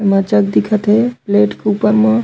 एमा जग दिखत हे प्लेट के ऊपर म--